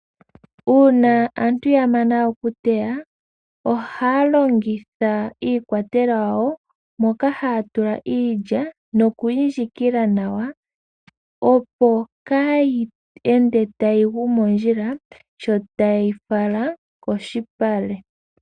Uuna aantu ya mana okuteya ohaya longitha iikwatelwa yawo moka haya tula iilya nokuyi ndjikila nawa opo kaayi ende tayi gu mondjila sho taye yi fala koshipale.